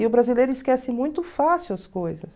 E o brasileiro esquece muito fácil as coisas.